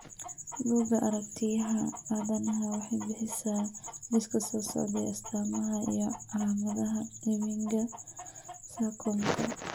Buggga Aaragtiyaha Aadanaha waxay bixisaa liiska soo socda ee astamaha iyo calaamadaha Ewingaa sarcomka.